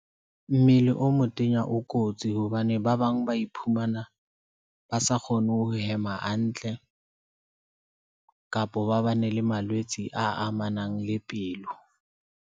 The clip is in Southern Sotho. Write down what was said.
Mmele o motenya o kotsi hobane ba bang ba iphumana ba sa kgone ho hema hantle kapo ba bane le malwetse a amanang le pelo.